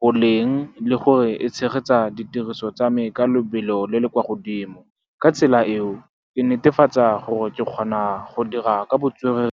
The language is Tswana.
boleng le gore e tshegetsa ditiriso tsa me ka lebelo le le kwa godimo. Ka tsela eo, e netefatsa gore ke kgona go dira ka botswerere.